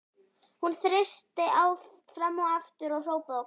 Hún þeysti fram og aftur og hrópaði og kallaði.